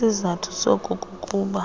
isizathu soku kukuba